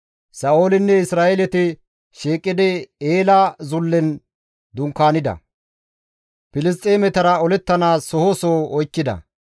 Sa7oolinne Isra7eeleti shiiqidi Eela zullen dunkaanida; Filisxeemetara olettanaas soho soho oykkida.